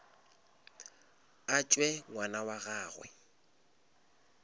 a tšwe ngwana wa gagwe